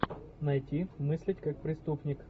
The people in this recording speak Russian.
найти мыслить как преступник